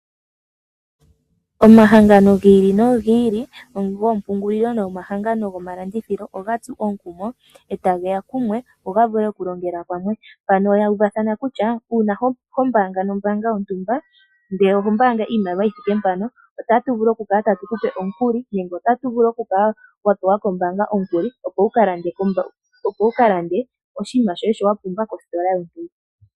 Omahangano giili nogiili goompungulilo noongeshefa dhilwe oga tsu euvathano lyokulongela kumwe. Aakwashigwana mboka hayabaanga nombaanga yontumba otaya vulu okulanda omaliko gawo omanene, ngaashi iitukutuku. Ohashi ningwa puna onkuli okuza kombaanga.